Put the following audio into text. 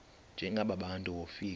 njengaba bantu wofika